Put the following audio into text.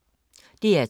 DR2